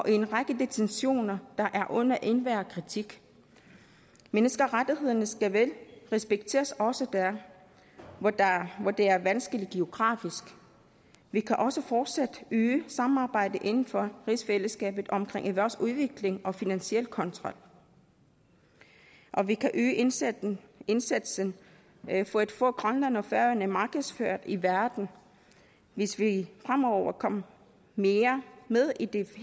er en række detentioner der er under enhver kritik menneskerettighederne skal vel respekteres også der hvor det er vanskeligt geografisk vi kan også fortsat øge samarbejdet inden for rigsfællesskabet omkring erhvervsudvikling og finansiel kontrol og vi kan øge indsatsen indsatsen for at få grønland og færøerne markedsført i verden hvis vi fremover kommer mere med i de